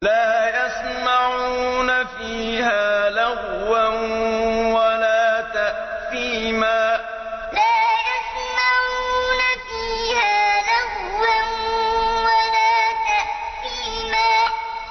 لَا يَسْمَعُونَ فِيهَا لَغْوًا وَلَا تَأْثِيمًا لَا يَسْمَعُونَ فِيهَا لَغْوًا وَلَا تَأْثِيمًا